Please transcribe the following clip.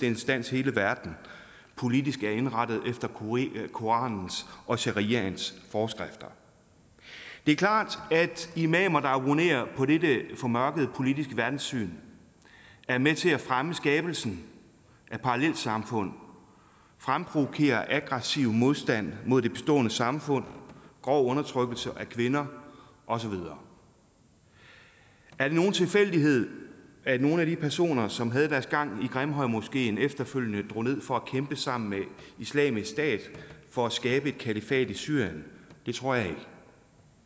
instans hele verden politisk er indrettet efter koranens og shariaens forskrifter det er klart at imamer der abonnerer på dette formørkede politiske verdenssyn er med til at fremme skabelsen af parallelsamfund at fremprovokere aggressiv modstand mod det bestående samfund og grov undertrykkelse af kvinder og så videre er det nogen tilfældighed at nogle af de personer som havde deres gang i grimhøjmoskeen efterfølgende drog ned for at kæmpe sammen med islamisk stat for at skabe et kalifat i syrien det tror jeg ikke det